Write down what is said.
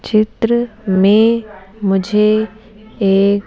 चित्र में मुझे एक --